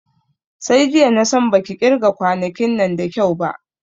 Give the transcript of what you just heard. Sai jiya na san baki ƙirga kwanonin nan da kyau ba